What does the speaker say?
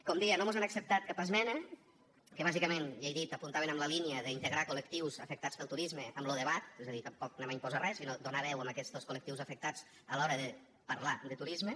com deia no mos acceptat cap esmena que bàsicament ja ho he dit apuntaven en la línia d’integrar col·lectius afectats pel turisme en lo debat és a dir tampoc volem imposar res sinó donar veu a aquests col·lectius afectats a l’hora de parlar de turisme